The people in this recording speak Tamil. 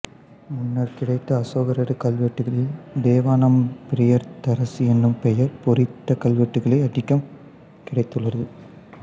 முன்னர் கிடைத்த அசோகரது கல்வெட்டுக்களில் தேவனாம்பிரியதர்சி எனும் பெயர் பொறித்த கல்வெட்டுககளே அதிகம் கிடைத்துள்ளது